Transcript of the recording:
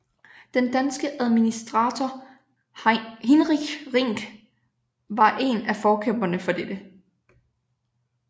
Den danske administrator Hinrich Rink var en af forkæmperne for dette